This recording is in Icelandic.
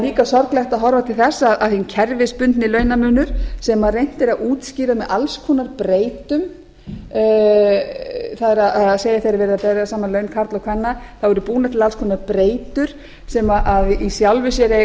líka sorglegt að horfa til þess að hinn kerfisbundna launamunur sem reynt er að útskýra með alls konar breytum það er þegar er verið að bera saman laun karla og kvenna þá eru búnar til alls konar breytur sem í sjálfu sér eiga